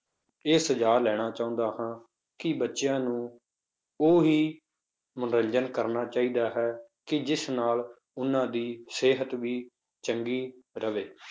ਇਹ ਸੁਝਾਅ ਲੈਣਾ ਚਾਹੁੰਦਾ ਹਾਂ ਕਿ ਬੱਚਿਆਂ ਨੂੰ ਉਹੀ ਮਨੋਰੰਜਨ ਕਰਨਾ ਚਾਹੀਦਾ ਹੈ ਕਿ ਜਿਸ ਨਾਲ ਉਹਨਾਂ ਦੀ ਸਿਹਤ ਵੀ ਚੰਗੀ ਰਵੇ।